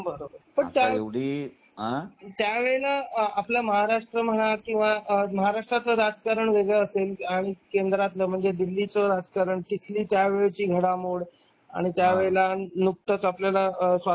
बरोबर त्यावेळेला आपला महाराष्ट्र म्हणा किंवा महाराष्ट्रातल राजकारण वेगळं असेल केंद्रातलं म्हणजे दिल्लीच राजकारण तिथली त्यावेळची घडामोड आणि त्या वेळेला नुकतंच आपल्याला स्वातंत्र्य